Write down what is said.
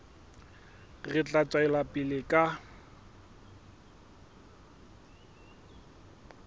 re tla tswela pele ka